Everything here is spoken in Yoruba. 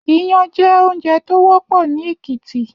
Iyàn jè óoùnjè tó wòpò ni Ekiti